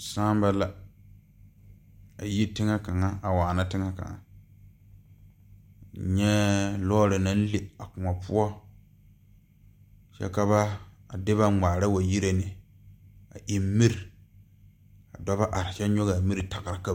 Sããma la a yi teŋɛ kaŋa a waana teŋɛ kaŋa nyɛɛ lɔɔre naŋ le a kõɔ poɔ kyɛ ka ba a de ba ngmaara wa yire ne a eŋ miri ka ba are kyɛ ngogaa miri tagra ka ba.